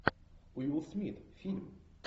уилл смит фильм